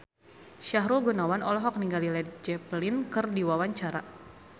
Sahrul Gunawan olohok ningali Led Zeppelin keur diwawancara